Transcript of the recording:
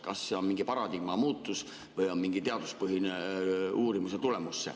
Kas see on mingi paradigma muutus või on see mingi teaduspõhise uurimuse tulemus?